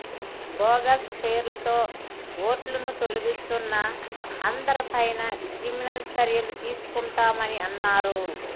bogus పేర్లతో ఓట్లను తొలగిస్తున్న అందరిపైనా క్రిమినల్ చర్యలు తీసుకుంటామని అన్నారు